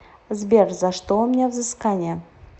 сбер за что у меня взыскания